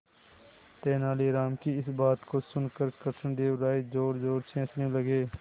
तेनालीराम की इस बात को सुनकर कृष्णदेव राय जोरजोर से हंसने लगे